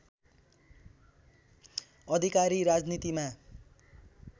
अधिकारी राजनीतिमा